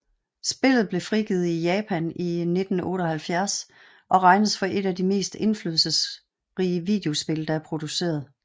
Spillet blev frigivet i Japan i 1978 og regnes for et af de mest indflydelsesrige videospil der er produceret